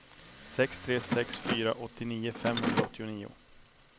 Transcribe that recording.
sex tre sex fyra åttionio femhundraåttionio